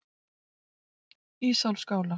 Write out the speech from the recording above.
Ísólfsskála